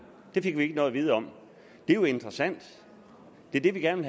det fik vi ikke noget at vide om det er jo interessant det er det vi gerne